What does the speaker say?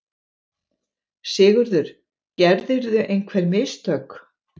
SIGURÐUR: Gerðirðu einhver mistök?